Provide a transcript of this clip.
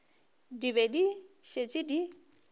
di be di šetše di